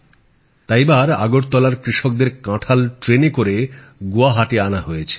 তাই এবার আগরতলার কৃষকদের কাঁঠাল ট্রেনে করে গুয়াহাটী আনা হয়েছে